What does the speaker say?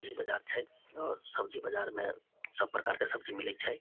सब्जी बाजार छै और सब्जी बाजार में सब प्रकार के सब्जी मिले छै।